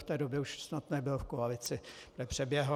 V té době už snad nebyl v koalici, přeběhl.